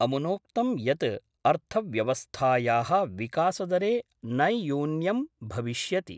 अमुनोक्तं यत् अर्थव्यवस्थायाः विकासदरे नैयून्यं भविष्यति।